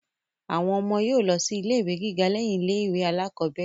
Àwọn ọmọ yóò lọ sí ilé ìwé gíga lẹ́yìn ilé ìwé alákọ́bẹ̀rẹ̀